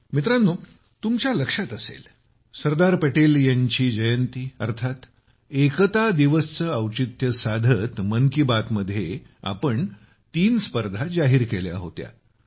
मित्रांनो तुम्हाला लक्षात असेल सरदार पटेल यांची जयंती अर्थात एकता दिवस चे औचित्य साधत मन की बात मध्ये आम्ही तीन स्पर्धांची घोषणा केली होती